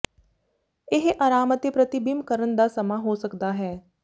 ਇਹ ਆਰਾਮ ਅਤੇ ਪ੍ਰਤੀਬਿੰਬ ਕਰਨ ਦਾ ਸਮਾਂ ਹੋ ਸਕਦਾ ਹੈ